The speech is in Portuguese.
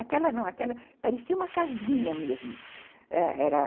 Aquela não, aquela parecia uma casinha mesmo, ãh, era